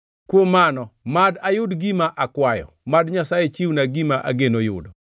“Kuom mano, mad ayud gima akwayo, mad Nyasaye chiwna gima ageno yudo,